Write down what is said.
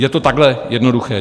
Je to takhle jednoduché.